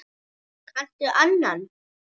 Kanntu annan?